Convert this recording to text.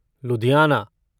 Ludhiana